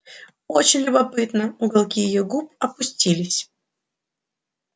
очень любопытно уголки её губ опустились